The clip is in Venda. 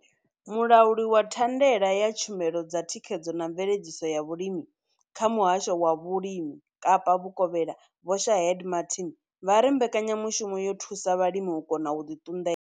Mulauli wa thandela ya tshumelo dza thikhedzo na mveledziso ya vhulimi kha Muhasho wa Vhulimi Kapa Vhukovhela Vho Shaheed Martin vha ri mbekanya mushumo yo thusa vhalimi u kona u ḓi ṱunḓela.